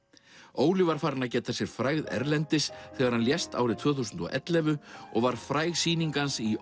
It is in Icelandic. Óli var farinn að geta sér frægðar erlendis þegar hann lést árið tvö þúsund og ellefu og var fræg sýning hans í